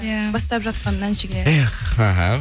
иә бастап жатқан әншіге эх аха